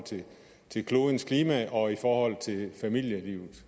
til klodens klima og i forhold til familielivet